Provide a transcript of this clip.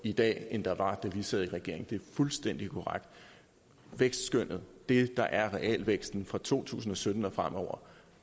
i dag end der var da vi sad i regering det er fuldstændig korrekt vækstskønnet det der er realvæksten fra to tusind og sytten og fremover